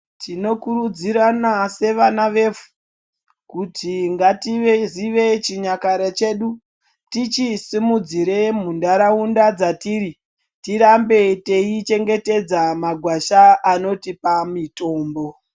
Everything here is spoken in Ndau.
Tinokurudzirana sevana vevhu kuti ngativeyi zive chinyakare chedu tichisimudzire muntaraunda dzatiri tirambe tei chengetedza magwasha anotipa mitombo.